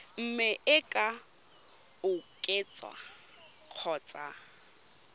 mme e ka oketswa kgotsa